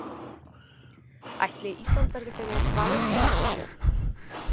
Ætli Ísland verði fyrir valinu hjá einhverjum?